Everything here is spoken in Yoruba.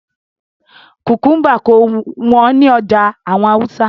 Kukumba kò wọ́n ní ọjà àwọn Hausa